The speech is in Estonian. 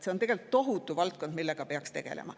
See on tegelikult tohutu valdkond, millega peaks tegelema.